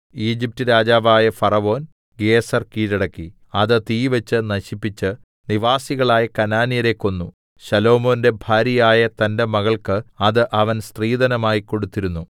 Egypt രാജാവായ ഫറവോൻ ഗേസെർ കീഴടക്കി അത് തീവെച്ച് നശിപ്പിച്ച് നിവാസികളായ കനാന്യരെ കൊന്നു ശലോമോന്റെ ഭാര്യയായ തന്റെ മകൾക്ക് അത് അവൻ സ്ത്രീധനമായി കൊടുത്തിരുന്നു